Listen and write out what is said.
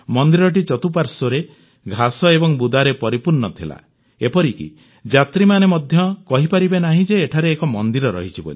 ମନ୍ଦିରଟି ଚତୁଃପାଶ୍ୱର୍ରେ ଘାସ ଏବଂ ବୁଦାରେ ପରିପୂର୍ଣ୍ଣ ଥିଲା ଏପରିକି ଯାତ୍ରୀମାନେ ମଧ୍ୟ କହିପାରିବେ ନାହିଁ ଯେ ଏଠାରେ ଏକ ମନ୍ଦିର ଅଛି